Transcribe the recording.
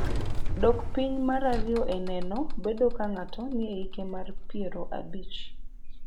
Dok piny mar ariyo e neno bedo ga ka ng'ato nie hike mar piero abich